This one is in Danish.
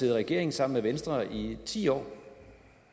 i regering sammen med venstre i ti år